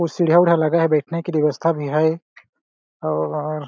सीढ़िया-विढीया भी लगा है बैठने की व्यवस्था भी है और --